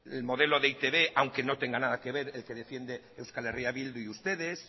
el modelo de e i te be aunque no tenga nada que ver el que defiende eh bildu y ustedes